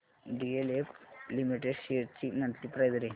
DLF limited shares ची monthly price range